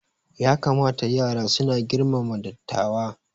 Ya kamata yara suna girmama dattawa